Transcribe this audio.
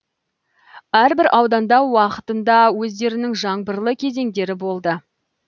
әрбір ауданда уақытында өздерінің жаңбырлы кезеңдері болды